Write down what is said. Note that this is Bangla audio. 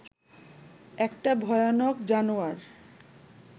একটা ভয়ানক জানোয়ার